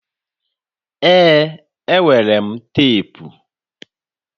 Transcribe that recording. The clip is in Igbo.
Ee, enwere m teepu